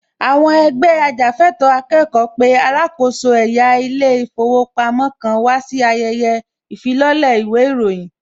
Àwọn ẹgbẹ́ ajàfẹ́ẹ̀tọ́ akẹ́kọ̀ọ́ pé alákòóso ẹ̀yà ilé ìfowópamọ́ kan wà sí ayẹyẹ ìfilọ́lẹ̀ īwé īròyīn